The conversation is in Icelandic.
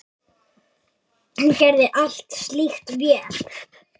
Hún gerði allt slíkt vel.